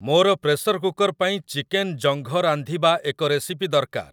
ମୋର pressure cooker ପାଇଁ chicken ଜଙ୍ଘ ରାନ୍ଧିବା ଏକ ରେସିପି ଦରକାର